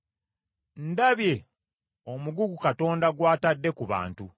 Ndabye omugugu Katonda gw’atadde ku bantu.